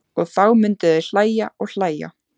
Og þá myndu þau hlæja og hlæja.